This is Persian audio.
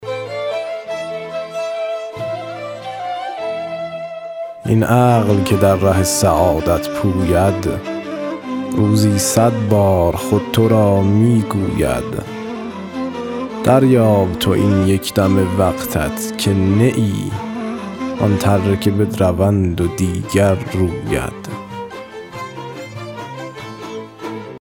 این عقل که در ره سعادت پوید روزی صد بار خود تو را می گوید دریاب تو این یک دم وقتت که نه ای آن تره که بدروند و دیگر روید